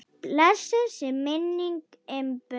Blessuð sé minning Imbu.